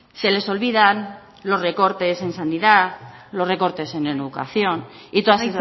se les olvidan los recortes en sanidad los recortes en educación y todas